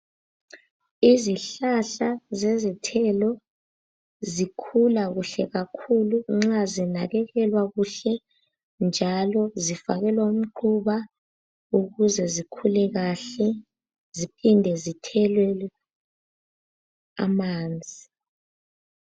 Izihlahla zezithelo zikhula kuhle kakhulu nxa zinakekelwa kuhle njalo zifakelwa umquba ukuze zikhule kahle, ziphinde zithelelwe amanzi.